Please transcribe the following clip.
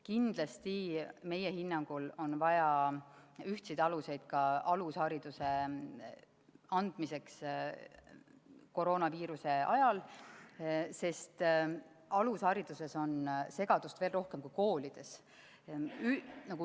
Kindlasti on meie hinnangul vaja ühtseid aluseid ka alushariduse andmiseks koroonaviiruse ajal, sest alushariduses on segadust veel rohkem kui koolides.